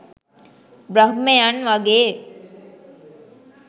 බ්‍රහ්මයන් වගේ.